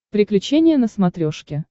приключения на смотрешке